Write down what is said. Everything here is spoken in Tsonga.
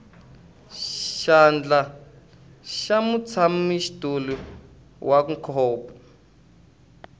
xandla xa mutshamaxitulu wa ncop